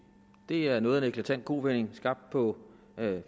det er noget af en eklatant kovending skabt på